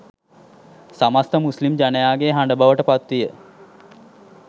සමස්ථ මුස්ලිම් ජනයාගේ හඬ බවට පත්විය